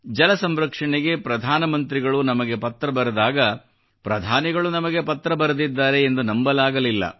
ಜಲ ಸಂರಕ್ಷಣೆಗೆ ಪ್ರಧಾನ ಮಂತ್ರಿಗಳು ನಮಗೆ ಪತ್ರ ಬರೆದಾಗ ಪ್ರಧಾನಿಗಳು ನಮಗೆ ಪತ್ರ ಬರೆದಿದ್ದಾರೆ ಎಂದು ನಂಬಲಾಗಲಿಲ್ಲ